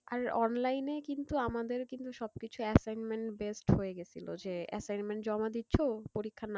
আর online এই কিন্তু আমাদের কিন্তু সবকিছু assignment based হয়ে গেছিলো যে assignment জমা দিচ্ছো পরীক্ষার,